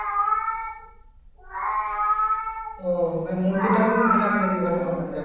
ও মানে মন্দির টা খুব famous নাকি ওখানকার মধ্যে?